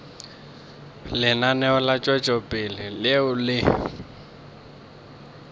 lenaneo la tšwetšopele leo le